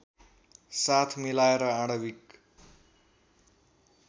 साथ मिलाएर आणविक